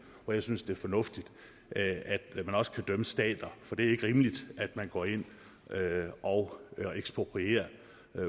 hvor jeg synes det er fornuftigt at man også kan dømme stater for det er ikke rimeligt at man går ind og eksproprierer